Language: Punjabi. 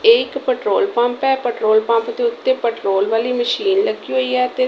ਇਹ ਇੱਕ ਪੈਟਰੋਲ ਪੰਪ ਹੈ। ਪੈਟਰੋਲ ਪੰਪ ਦੇ ਉੱਤੇ ਪੈਟਰੋਲ ਵਾਲੀ ਮਸ਼ੀਨ ਲੱਗੀ ਹੋਈ ਹੈ ਅਤੇ --